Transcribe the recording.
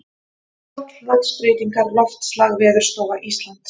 Loftslagsbreytingar Loftslag Veðurstofa Íslands.